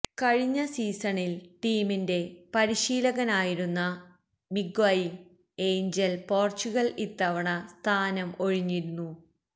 കഴിഞ്ഞ സീസണില് ടീമിന്റെ പരിശീലകനായിരുന്ന മിഗ്വെയില് ഏഞ്ചല് പോര്ച്ചുഗല് ഇത്തവണ സ്ഥാനം ഒഴിഞ്ഞിരുന്നു